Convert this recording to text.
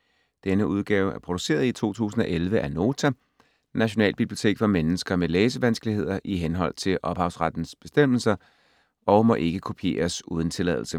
Denne udgave er produceret i 2011 af Nota - Nationalbibliotek for mennesker med læsevanskeligheder, i henhold til ophavsrettes bestemmelser, og må ikke kopieres uden tilladelse.